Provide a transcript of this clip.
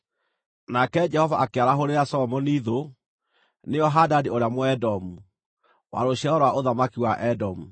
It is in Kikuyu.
Nake Jehova akĩarahũrĩra Solomoni thũ, nĩyo Hadadi ũrĩa Mũedomu, wa rũciaro rwa ũthamaki wa Edomu.